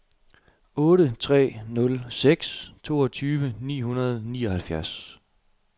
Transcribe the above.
otte tre nul seks toogtyve ni hundrede og nioghalvfjerds